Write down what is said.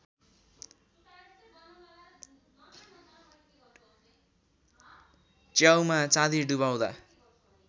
च्याउमा चाँदी डुबाउँदा